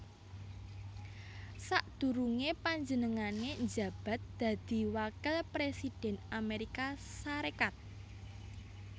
Sadurungé panjenengané njabat dadi wakil presiden Amérika Sarékat